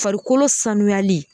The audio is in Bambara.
Farikolo sanuyali